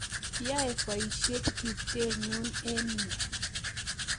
Yae poisyet tupchennyu eng' yun